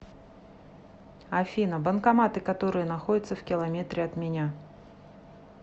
афина банкоматы которые находятся в километре от меня